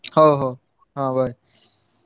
ହଉ ହଉ ହଁ bye